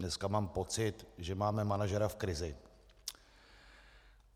Dneska mám pocit, že máme manažera v krizi.